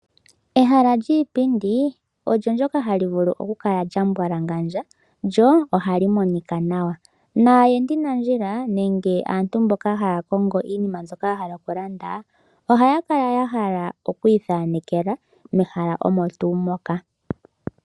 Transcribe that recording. Ehala lyiipindi olyo ndyoka hali vulu oku kala lya mbwalangandja lyo ohali monika nawa, naayendi nandjila, nenge aantu mboka haya kongo iinima mbyoka ya hala oku landa, ohaya kala ya hala oku ithanekela mehala omo tuu moka.